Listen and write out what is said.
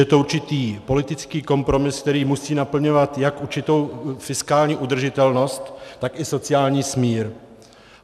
Je to určitý politický kompromis, který musí naplňovat jak určitou fiskální udržitelnost, tak i sociální smír.